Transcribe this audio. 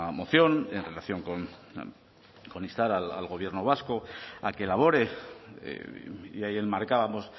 moción en relación con instar al gobierno vasco a que elabore y ahí enmarcábamos